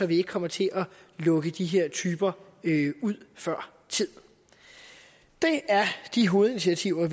vi ikke kommer til at lukke de her typer ud før tid det er de hovedinitiativer